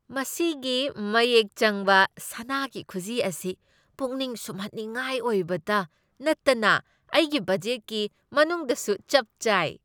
ꯃꯁꯤꯒꯤ ꯃꯌꯦꯛ ꯆꯪꯕ ꯁꯅꯥꯒꯤ ꯈꯨꯖꯤ ꯑꯁꯤ ꯄꯨꯛꯅꯤꯡ ꯁꯨꯝꯍꯠꯅꯤꯉꯥꯏ ꯑꯣꯏꯕꯇ ꯅꯠꯇꯅ ꯑꯩꯒꯤ ꯕꯗꯖꯦꯠꯀꯤ ꯃꯅꯨꯡꯗꯁꯨ ꯆꯞ ꯆꯥꯏ꯫